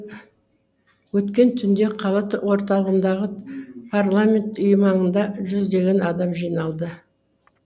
өткен түнде қала орталығындағы парламент үйі маңында жүздеген адам жиналды